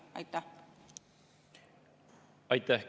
Aitäh!